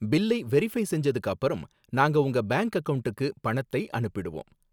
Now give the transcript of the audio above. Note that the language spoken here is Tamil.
பில்லை வெரிஃப்பை செஞ்சதுக்கு அப்புறம், நாங்க உங்க பேங்க் அக்கவுண்ட்க்கு பணத்தை அனுப்பிடுவோம்.